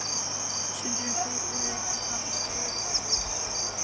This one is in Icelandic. Sundrun fitu fer einnig fram í skeifugörninni.